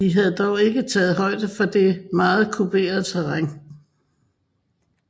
De havde dog ikke taget højde for det meget kuperede terræn